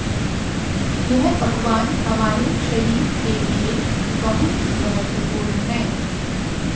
यह पकवान हमारे शरीर के लिए बहुत महत्वपूर्ण है